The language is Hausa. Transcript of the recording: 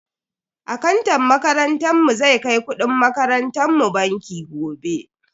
Akantan makarantar mu zai kai kudin makarantan mu banki gobe.